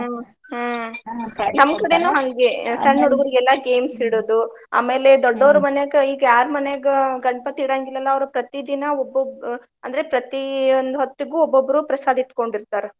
ಹಂಗೆ games ಇಡೋದು. ಆಮೇಲೆ ಮನ್ಯಾಗ ಈಗ್ ಯಾರ್ ಮನ್ಯಾಗ ಗಣಪತಿ ಇಡಂಗಿಲ್ಲಲ್ಲಾ ಅವ್ರ್ ಪ್ರತಿದಿನಾ ಒಬ್ಬೊಬ್~ ಆ ಅಂದ್ರೆ ಪ್ರತಿಯೊಂದ್ ಹೊತ್ತಿಗೂ ಒಬ್ಬೊಬ್ರು ಪ್ರಸಾದ್ ಇಟ್ಕೊಂಡಿರ್ತಾರ.